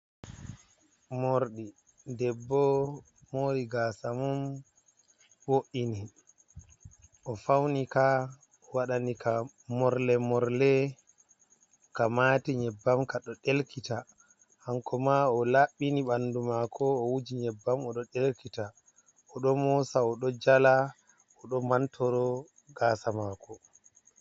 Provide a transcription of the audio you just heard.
Morɗi debbo moori gaasa mum, bo’ini o fauwnika waɗani ka morle morle, ka maati nyebbam kaɗo ɗelkita. Hanko ma o laɓɓini ɓanndu maako, o wuji nyebbam ,o ɗo ɗelkita, o ɗo moosa ,o ɗo jala ,o ɗo mantoro gaasa maako.